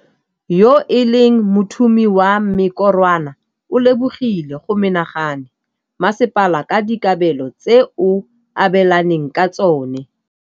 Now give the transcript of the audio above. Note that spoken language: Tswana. Yo e leng mothumi wa mekorwana o lebogile go menagane masepala ka dikabelo tse o abelaneng ka tsone.